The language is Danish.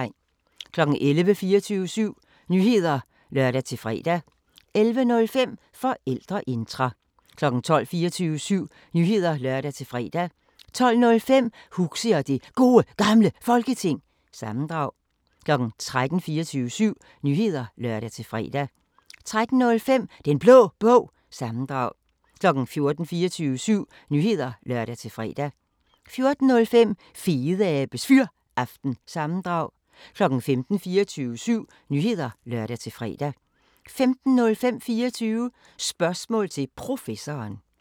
11:00: 24syv Nyheder (lør-fre) 11:05: Forældreintra 12:00: 24syv Nyheder (lør-fre) 12:05: Huxi og det Gode Gamle Folketing – sammendrag 13:00: 24syv Nyheder (lør-fre) 13:05: Den Blå Bog – sammendrag 14:00: 24syv Nyheder (lør-fre) 14:05: Fedeabes Fyraften – sammendrag 15:00: 24syv Nyheder (lør-fre) 15:05: 24 Spørgsmål til Professoren